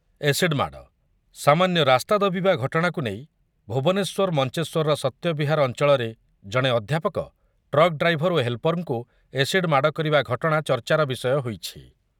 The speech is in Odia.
ଏସିଡ୍ ମାଡ଼ ସାମାନ୍ୟ ରାସ୍ତା ଦବିବା ଘଟଣାକୁ ନେଇ ଭୁବନେଶ୍ୱର ମଞ୍ଚେଶ୍ୱରର ସତ୍ୟବିହାର ଅଞ୍ଚଳରେ ଜଣେ ଅଧ୍ୟାପକ, ଟ୍ରକ୍ ଡ୍ରାଇଭର ଓ ହେଲ୍ପରଙ୍କୁ ଏସିଡ୍ ମାଡ଼କରିବା ଘଟଣା ଚର୍ଚ୍ଚାର ବିଷୟ ହୋଇଛି ।